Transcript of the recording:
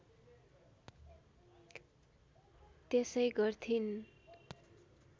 त्यसै गर्थिन्